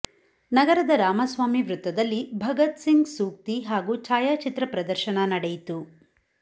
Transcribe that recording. ನಗರದ ರಾಮಸ್ವಾಮಿ ವೃತ್ತದಲ್ಲಿ ಭಗತ್ ಸಿಂಗ್ ಸೂಕ್ತಿ ಹಾಗೂ ಛಾಯಾಚಿತ್ರ ಪ್ರದರ್ಶನ ನಡೆಯಿತು